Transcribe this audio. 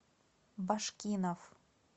башкинов